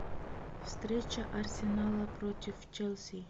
встреча арсенала против челси